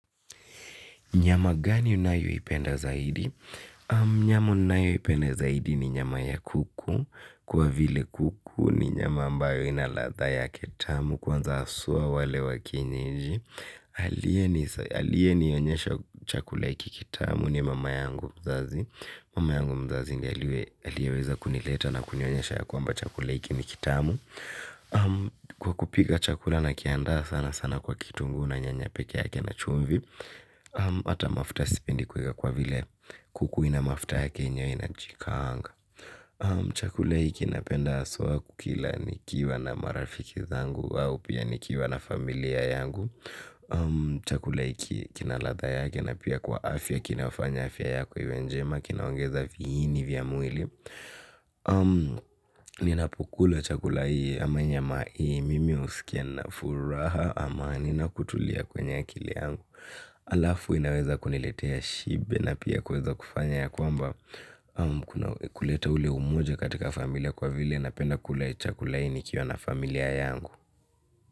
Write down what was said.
Nyama gani unayoipenda zaidi? Nyama ninayoipenda zaidi ni nyama ya kuku kwa vile kuku ni nyama ambayo ina ladha yake tamu kwanza haswa wale wa kienyeji. Aliyenionyesha chakula hiki kitamu ni mama yangu mzazi. Mama yangu mzazi ndiye aliyeweza kunileta na kunionyesha ya kwamba chakula hiki ni kitamu. Kwa kupika chakula nakiandaa sana sana kwa kitunguu na nyanya pekee yake na chumvi. Hata mafuta sipendi kuiweka kwa vile kuku ina mafuta yake yenyewe inajikaanga. Chakula hiki napenda haswa kukila nikiwa na marafiki zangu au pia nikiwa na familia yangu. Chakula hiki kina ladha yake na pia kwa afya kinafanya afya yako iwe njema, kinaongeza vihini vya mwili. Ninapokula chakula hii ama nyama hii mimi husikia nina furaha ama nina kutulia kwenye akili yangu. Alafu inaweza kuniletea shibe na pia kuweza kufanya ya kwamba kuleta ule umoja katika familia kwa vile napenda kula chakula hii nikiwa na familia yangu.